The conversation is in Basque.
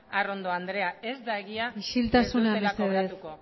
arrondo andrea isiltasuna mesedez ez da egia ez dutela kobratuko